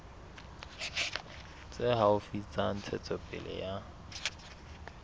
tse haufi tsa ntshetsopele ya